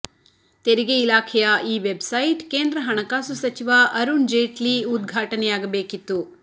ತೆರಿಗೆ ಇಲಾಖೆಯ ಈ ವೆಬ್ಸೈಟ್ ಕೇಂದ್ರ ಹಣಕಾಸು ಸಚಿವ ಅರುಣ್ ಜೇಟ್ಲಿ ಉದ್ಘಾಟನೆಯಾಗಬೇಕಿತ್ತು